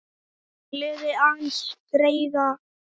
Gleði aðeins greiða kann.